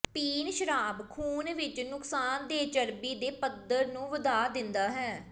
ਪੀਣ ਸ਼ਰਾਬ ਖੂਨ ਵਿੱਚ ਨੁਕਸਾਨਦੇਹ ਚਰਬੀ ਦੇ ਪੱਧਰ ਨੂੰ ਵਧਾ ਦਿੰਦਾ ਹੈ